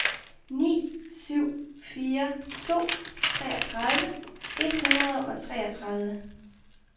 ni syv fire to treogtredive et hundrede og treogtredive